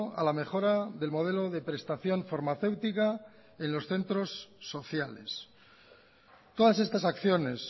a la mejora del modelo de prestación farmacéutica en los centros sociales todas estas acciones